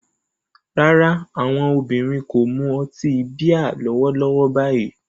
Rárá, àwọn obìnrin kò mu ọtí bíà lọ́wọ́lọ́wọ́ báyìí